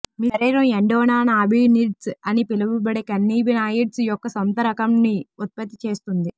మీ శరీరం ఎండోనానాబినిడ్స్ అని పిలువబడే కన్నాబినాయిడ్స్ యొక్క సొంత రకంని ఉత్పత్తి చేస్తుంది